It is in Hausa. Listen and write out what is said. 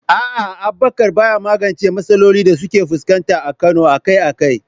A'a, Abubakar ba ya magance matsalolin da suke fuskanta a Kano akai-akai.